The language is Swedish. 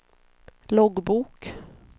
loggbok